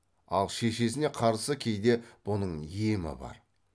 ал шешесіне қарсы кейде бұның емі бар